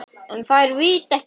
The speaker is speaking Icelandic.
En þær vita ekkert.